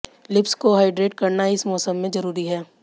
lips को hydrate करना इस मौसम में जरूरी है